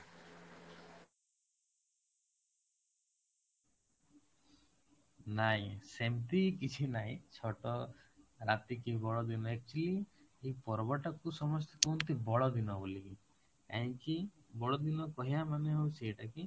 ନାଇଁ ସେମିତି କିଛି ନାଇଁ ଛୋଟ ରାତି କି ବଡ ଦିନ actually ଏଇ ପର୍ବଟାକୁ ସମସ୍ତେ କୁହନ୍ତି ବଡ଼ଦିନ ବୋଲି, କାହିଁକି, ବଡ ଦିନ କହିବା ମାନେ ହଉଛି ଏଇଟା କି